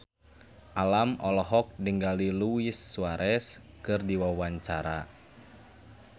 Alam olohok ningali Luis Suarez keur diwawancara